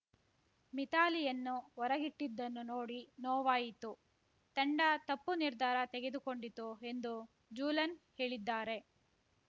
ಮಿಥಾಲಿಯನ್ನು ಹೊರಗಿಟ್ಟಿದ್ದನ್ನು ನೋಡಿ ನೋವಾಯಿತು ತಂಡ ತಪ್ಪು ನಿರ್ಧಾರ ತೆಗೆದುಕೊಂಡಿತು ಎಂದು ಜೂಲನ್‌ ಹೇಳಿದ್ದಾರೆ